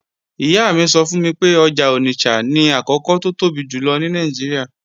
Ìyá mi sọ fún mi pé ọjà Onitsha ni àkọ́kọ́ tó tóbi jùlọ ní Nàìjíríà